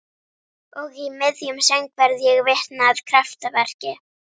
Og í miðjum söng verð ég vitni að kraftaverki.